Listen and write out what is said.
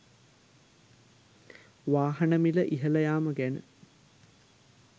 වාහන මිල ඉහළ යාම ගැන